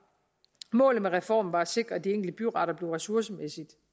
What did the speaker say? målet med reformen var at sikre at de enkelte byretter blev ressourcemæssigt